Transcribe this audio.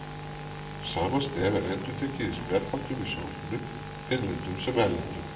Sama stef er endurtekið í spjallþáttum í sjónvarpinu, innlendum sem erlendum.